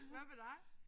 Hvad med dig?